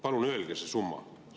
Palun öelge see summa.